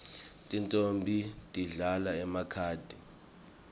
tintfombi tidlala emakhadi